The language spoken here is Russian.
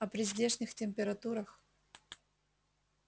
а при здешних температурах